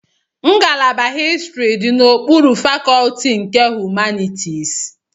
Ngalaba histrị dị n'okpuru fakọlti nke Humanitisi.